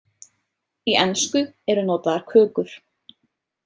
Í ensku eru notaðar kökur.